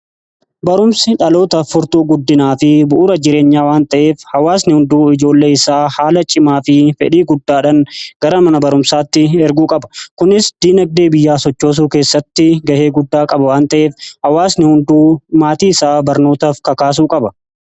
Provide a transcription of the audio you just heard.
Barumsi dhalootaaf furtuu guddinaa fi bu'uura jireenyaa waan ta'eef, hawaasni hunduu ijoollee isaa haala cimaa fi fedhii guddaadhan gara mana barumsaatti erguu qaba. Kunis dinagdee biyyaa sochoosuu keessatti ga'ee guddaa qaba waan ta'eef, hawaasni hunduu maatii isaa barnootaaf kakaasuu qaba.